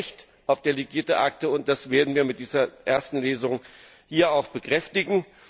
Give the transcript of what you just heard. Wir haben ein Recht auf delegierte Akte, und das werden wir mit dieser ersten Lesung hier auch bekräftigen.